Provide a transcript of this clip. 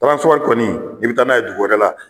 kɔni i bi taa n'a ye dugu wɛrɛ la.